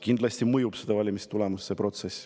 Kindlasti mõjutab see protsess valimistulemust.